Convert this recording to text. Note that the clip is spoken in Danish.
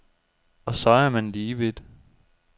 Og så er man lige vidt.